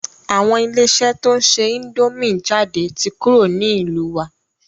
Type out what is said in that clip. Àwọn ilé iṣẹ́ to ń ṣe índòmí jáde ti kúrò ní ìlú wa.